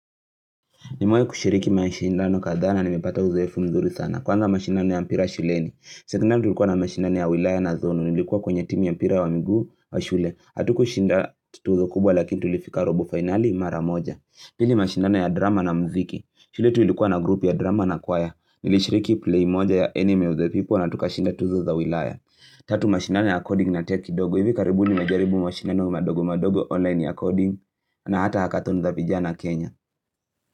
Nimewahi kushiriki mashindano kadhaa na nimepata uzoefu mzuri sana. Kwanza mashindano ya mpira shuleni. Sekondari tulikuwa na mashindano ya wilaya na zone. Nilikuwa kwenye timu ya mpira wa miguu wa shule. Hatukushinda tuzo kubwa lakini tulifika robo finali mara moja. Pili mashindano ya drama na muziki. Shule yetu ilikuwa na group ya drama na kwaya. Nilishiriki play moja ya anime with the people na tukashinda tuzo za wilaya. Tatu mashindano ya coding na tech kidogo. Hivi karibuni najaribu mashindano madogo madogo online ya coding. Na hata hackathon za vijana Kenya.